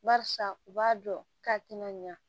Barisa u b'a dɔn k'a tɛna ɲa